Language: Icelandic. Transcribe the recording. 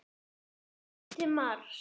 Beina leið til Mars.